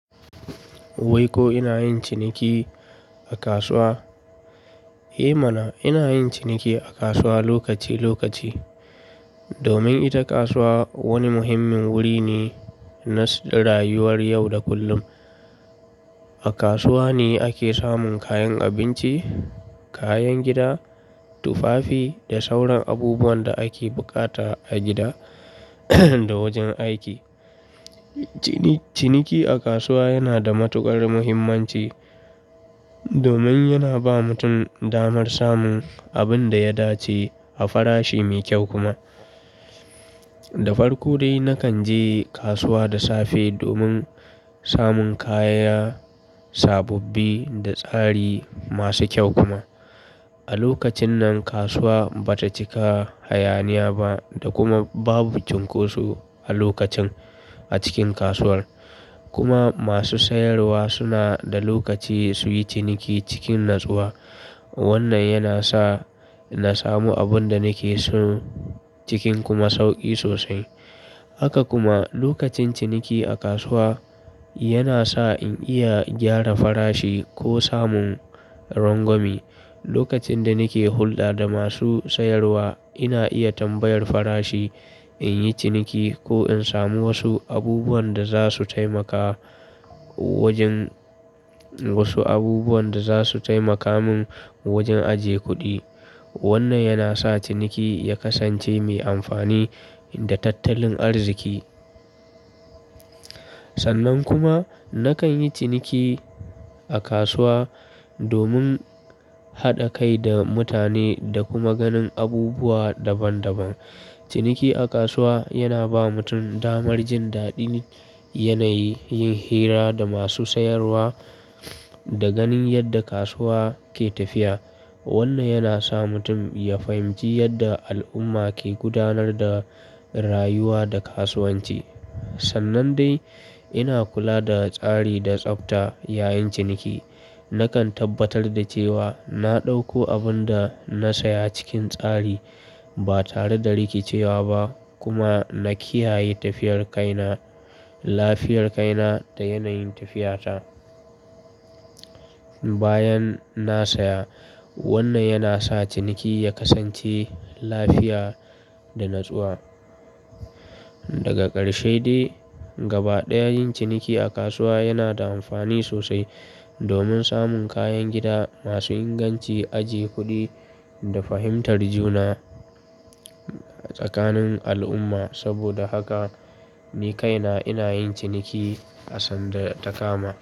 Wai ko ina yin ciniki a kasuwa? Eh mana, ina yin ciniki a kasuwa lokaci lokaci domin ita kasuwa wani muhimmin wuri ne na rayuwar yau da kullum. A kasuwa ne ake samun kayan abinci, kayan gida, tufafi da sauran abubuwan da ake bukata a gida da wajen aiki. Cini-ciniki a kasuwa yana da matuƙar muhimmanci domin yana ba mutum damar samun abin da ya dace a farashi mai kyau kuma. Da farko dai nakan je kasuwa da safe domin samun kaya sabobbi da tsari masu kyau kuma. A lokacin nan kasuwa bata cika hayaniya ba da kuma babu cunkoso a lokacin a cikin kasuwar, kuma masu sayarwa suna da lokaci suyi ciniki cikin natsuwa. Wannan yana sa na samu abun da nake so cikin kuma sauƙi sosai. Haka kuma lokacin ciniki a kasuwa yana sa in iya gyara farashi ko samun rangwame. Lokacin da nake hulɗa da masu sayarwa ina iya tambayar farashi in yi ciniki ko in samu wasu abubuwan da za su taimaka wajen wasu abubuwan da za su taimaka min wajen ajiye kuɗi. Wannan yana sa ciniki ya kasance mai amfani da tattalin arziki. Sannan kuma nakan yi ciniki a kasuwa domin haɗa kai da mutane da kuma ganin abubuwa daban daban. Ciniki a kasuwa yana ba mutum damar jin daɗin yanayi, yin hira da masu sayarwa da ganin yadda kasuwa ke tafiya. Wannan yana sa mutum ya fahimci yadda al'umma ke gudanar da rayuwa da kasuwanci. Sannan dai ina kula da tsari da tsafta yayin ciniki. Nakan tabbatar da cewa na ɗauko abun da na saya cikin tsari ba tare da rikicewa ba kuma na kiyaye tafiyar kaina lafiyar kaina da yanayin tafiyata bayan na saya. Wannan yana sa ciniki ya kasance lafiya da natsuwa. Daga ƙarshe dai gaba ɗaya yin ciniki a kasuwa yana da amfani sosai domin samun kayan gida masu inganci, ajiye kuɗi da fahimtar juna tsakanin al'umma. Saboda haka ni kaina ina yin ciniki asanda takama.